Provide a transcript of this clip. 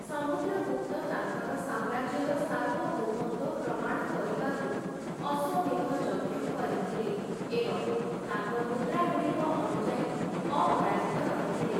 ସମୁଦ୍ରଗୁପ୍ତ ତାଙ୍କର ସାମ୍ରାଜ୍ୟର ସାର୍ବଭୌମତ୍ୱ ପ୍ରମାଣ କରିବାକୁ ଅଶ୍ୱମେଧ ଯଜ୍ଞ କରିଥିଲେ ଏବଂ ତାଙ୍କ ମୁଦ୍ରାଗୁଡ଼ିକ ଅନୁଯାୟୀ, ଅପରାଜିତ ରହିଥିଲେ ।